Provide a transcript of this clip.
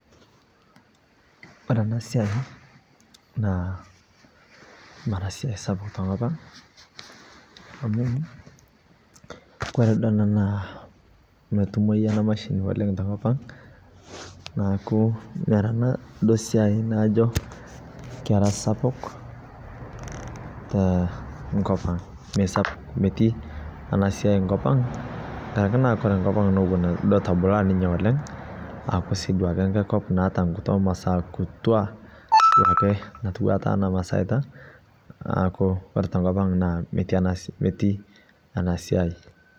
Kore ana siai naa maraa siai sapuk to nkopang' amu kore doo ana naa meitumoi ana mashini to nkopang' .Naaku kore ana doo siai naijoo kera sapuk te nkopang' mee metii ana siai nkopang', kang'araki naa nkopang' natobulaa ninyee oleng' aaku sii duake nkop naeta nkituaa maasa kutuaa natiwua taa ana masaita. Naaku koore te nkopang' naa metii ena siai.